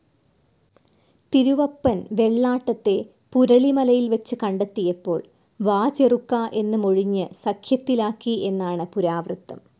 തിരുവപ്പൻ വെള്ളാട്ടത്തെ പുരളിമലയിൽ വെച്ച് കണ്ടെത്തിയപ്പോൾ വാചെറുക്കാ എന്നു മൊഴിഞ്ഞു സഖ്യത്തിലാക്കി എന്നാണു പുരാവൃത്തം.